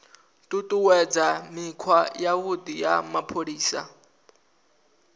ṱuṱuwedza mikhwa yavhuḓi ya mapholisa